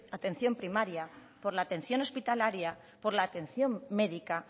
atención primaria por la atención hospitalaria por la atención médica